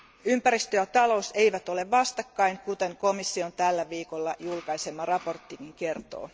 Ympäristö ja talous eivät ole vastakkain, kuten komission tällä viikolla julkaisema raportti kertoo.